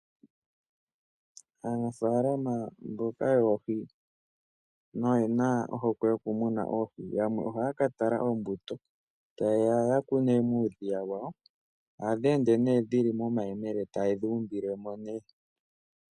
Aanafaalama mboka yoohi noyena ohokwe yokumuna oohi yamwe ohaya ka tala ombuto taye ya yakune muudhiya wawo. Ohadhi ende nee dhili momayemele etaye dhi umbile mo nee.